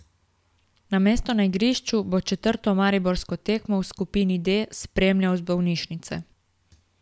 Namesto na igrišču bo četrto mariborsko tekmo v skupini D spremljal iz bolnišnice.